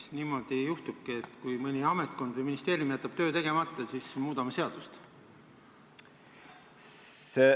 Kas niimoodi juhtubki, et kui mõni ametkond või ministeerium jätab töö tegemata, siis muudame seadust?